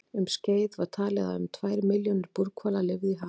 Um skeið var talið að um tvær milljónir búrhvala lifðu í hafinu.